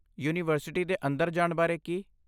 University ਦੇ ਅੰਦਰ ਜਾਣ ਬਾਰੇ ਕੀ?